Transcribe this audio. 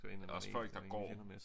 Også folk der går